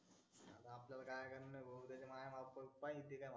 पाहीन ते